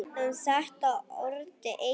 Um þetta orti Egill